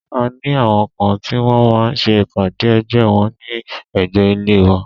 A ní àwọn kan tí wọ́n máa ń ṣe ìpàdé ẹgbẹ́ wọ́n ní ẹ̀gbé ilé wa.